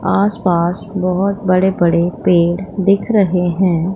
आसपास बहोत बड़े बड़े पेड़ दिख रहे हैं।